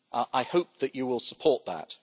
I hope that you will support that.